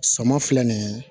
Sama filɛ nin ye